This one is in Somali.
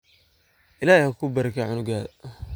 Illahey hakubarakeyo cunugadha .